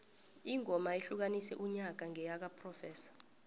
ingoma ehlukanise unyaka ngeyakaprofessor